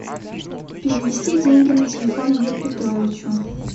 перевести деньги на телефон юрию петровичу